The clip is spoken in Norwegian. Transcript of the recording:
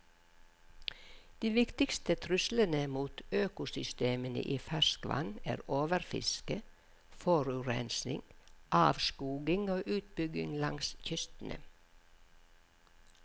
De viktigste truslene mot økosystemene i ferskvann er overfiske, forurensning, avskoging og utbygging langs kystene.